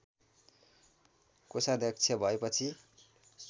कोषाध्यक्ष भएपछि